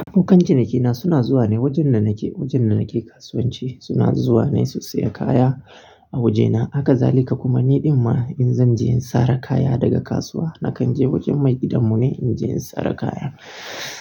Abokan cinikina suna zuwa ne wajen da nake, wajen da nake kasuwanci. Suna zuwa ne su saya kaya a wajena. Hakazalika kuma, ni ɗin ma in zan je in sare kaya daga kasuwa, nakan je wajen maigidan mu ne in je in sare kaya.